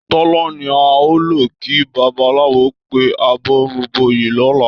Tọ́lá ní a ò lọ kí babaláwo pé àbọrúbọyè lọ̀la